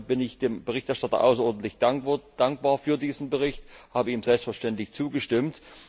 Deshalb bin ich dem Berichterstatter außerordentlich dankbar für diesen Bericht und habe ihm selbstverständlich zugestimmt.